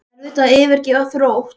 Er erfitt að yfirgefa Þrótt?